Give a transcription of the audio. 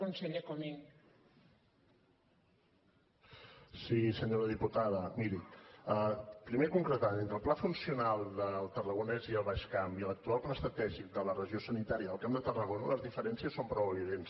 senyora diputada miri primer concretar entre el pla funcional del tarragonès i el baix camp i l’actual pla estratègic de la regió sanitària del camp de tarragona les diferències són prou evidents